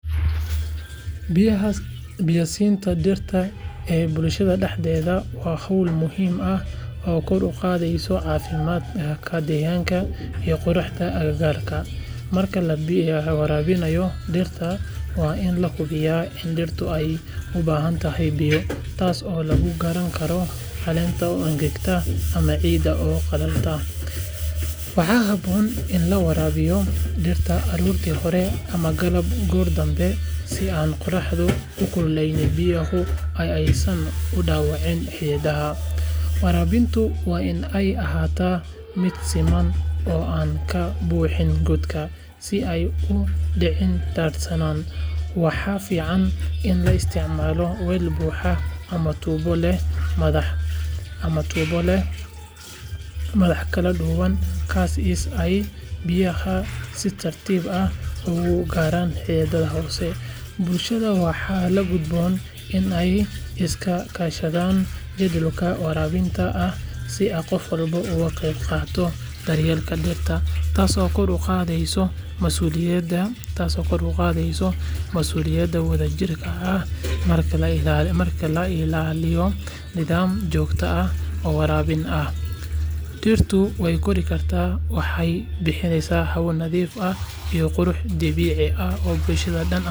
Biyaha siinta dhirta ee bulshada dhexdeeda waa hawl muhiim ah oo kor u qaadaysa caafimaadka deegaanka iyo quruxda agagaarka. Marka la bilaabayo waraabinta dhirta, waa in la hubiyaa in dhirtu ay u baahan tahay biyo, taas oo lagu garan karo caleenta oo engegan ama ciidda oo qalalan. Waxaa habboon in la waraabiyo dhirta aroortii hore ama galabtii goor dambe si aan qorraxdu u kululeyn biyaha oo aysan u dhaawicin xididdada. Waraabintu waa in ay ahaataa mid siman oo aan la buuxin godadka, si aysan u dhicin daadsanaan. Waxaa fiican in la isticmaalo weel buuxa ama tuubo leh madax kala duwanaan kara si ay biyaha si tartiib ah ugu gaaraan xididdada hoose. Bulshada waxaa la gudboon in ay iska kaashato jadwal waraabin ah si qof walba uu qayb uga noqdo daryeelka dhirta, taas oo kor u qaadaysa mas'uuliyadda wadajirka ah. Marka la ilaaliyo nidaam joogto ah oo waraabin ah, dhirtu way kori kartaa, waxayna bixisaa hawo nadiif ah iyo qurux dabiici ah oo bulshada oo dhan anfaca.